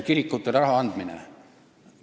Kirikutele raha andmine.